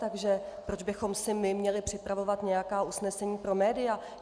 Takže proč bychom si my měli připravovat nějaká usnesení pro média?